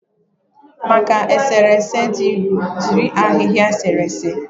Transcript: Maka eserese dị nro, jiri ahịhịa eserese.